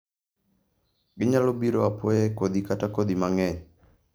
Ginyalo biro apoya e kodhi kata kodhi mang'eny.